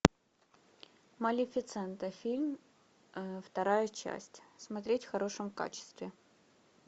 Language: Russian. малефисента фильм вторая часть смотреть в хорошем качестве